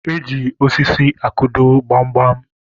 Eji osisi akụdo gbamgbam